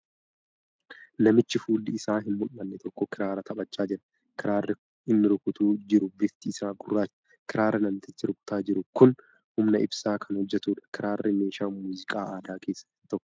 Namichi fuulli isaa hin mul'anne tokko kiraara taphachaa jira . Kiraarri inni rukutaa jiru bifti isaa gurracha. Kiraarri namtichi rukutaa jiru kun humna ibsaan kan hojjatuudha. Kiraarri meeshaa muuziqaa aadaa keessaa isa tokko.